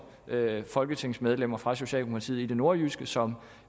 folketingsmedlemmer fra socialdemokratiet i det nordjyske som